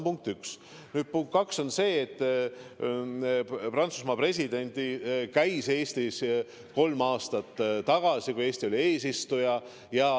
Punkt kaks on see, et Prantsusmaa president käis Eestis kolm aastat tagasi, kui Eesti oli eesistuja.